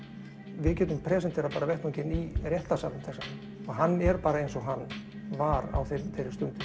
við getum presenterað vettvanginn bara í réttarsalnum þess vegna hann er bara eins og hann var á þeirri stundu